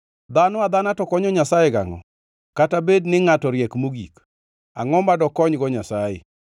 “Dhano adhana to konyo Nyasaye gangʼo? Kata bed ni ngʼato riek mogik, angʼo ma dokonygo Nyasaye?